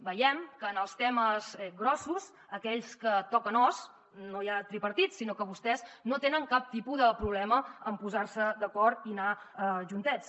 veiem que en els temes grossos aquells que toquen os no hi ha tripartit sinó que vostès no tenen cap tipus de problema en posar se d’acord i anar juntets